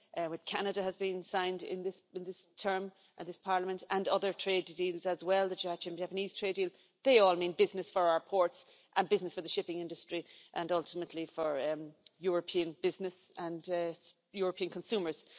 with Canada has been signed in this term of this Parliament, and other trade deals as well the Japanese trade deal they all mean business for our ports and business for the shipping industry and ultimately for European business and European consumers.